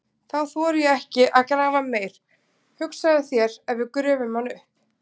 Þá þori ég ekki að grafa meir, hugsaðu þér ef við gröfum hann upp!